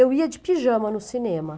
Eu ia de pijama no cinema.